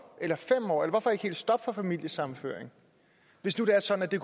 eller fem år eller hvorfor ikke helt stoppe for familiesammenføring hvis det var sådan at det